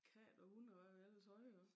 Katte og hunde og hvad vi ellers havde også